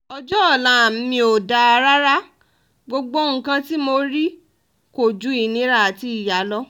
ọjọ́ ọ̀la mi ò dáa rárá gbogbo nǹkan tí mo rí kò ju ìnira àti ìyá lọ